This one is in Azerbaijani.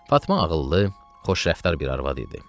Fatma ağıllı, xoşrəftar bir arvad idi.